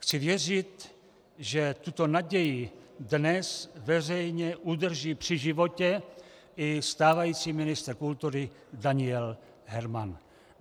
Chci věřit, že tuto naději dnes veřejně udrží při životě i stávající ministr kultury Daniel Herman.